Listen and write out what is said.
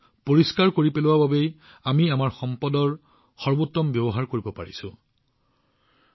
এই পৰিচ্ছন্নতাৰ বাবে আমি আমাৰ সম্পদৰ সৰ্বোত্তম ব্যৱহাৰৰ সৰ্বশ্ৰেষ্ঠ অভিজ্ঞতা লাভ কৰিছো